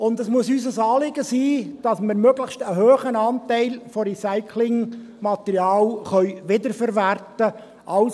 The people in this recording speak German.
Und es muss unser Anliegen sein, dass wir einen möglichst hohen Anteil von Recyclingmaterial wiederverwerten können.